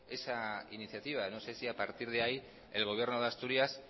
esa iniciativa no sé si a partir de ahí el gobierno de asturias